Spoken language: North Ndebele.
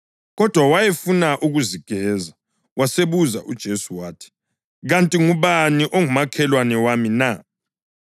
Kodwa wayefuna ukuzigeza, wasebuza kuJesu, wathi, “Kanti ngubani ongumakhelwana wami na?”